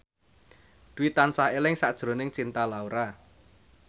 Dwi tansah eling sakjroning Cinta Laura